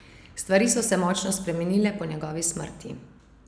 Stvari so se močno spremenile po njegovi smrti.